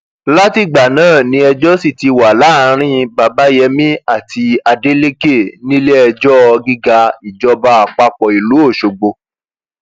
látìgbà náà ni ẹjọ sì ti wà láàrin babayémi àti adeleke níléẹjọ gíga ìjọba àpapọ ìlú ọṣọgbó